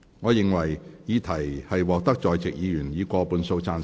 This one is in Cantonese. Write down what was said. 我認為議題獲得在席議員以過半數贊成。